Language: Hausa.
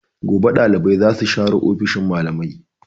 Gobe dalibai za su share ofishin malamai.